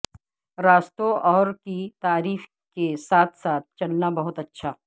راستوں اور کی تعریف کے ساتھ ساتھ چلنا بہت اچھا